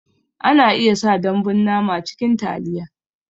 Ana iya sa dambun nama cikin taliya